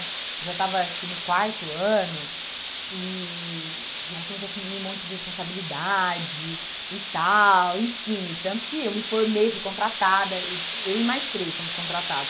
Eu já estava acho que no quarto ano e e aí comecei a assumir um monte de responsabilidade e tal, enfim, e tanto que eu me formei, fui contratada, e eu e mais três somos contratados.